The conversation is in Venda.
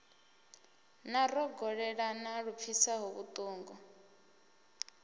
na rogolelana lu pfisaho vhutungu